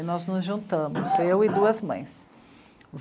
E nós nos juntamos, eu e duas mães.